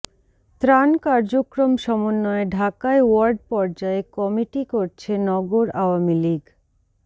ত্রাণ কার্যক্রম সমন্বয়ে ঢাকায় ওয়ার্ড পর্যায়ে কমিটি করছে নগর আওয়ামী লীগ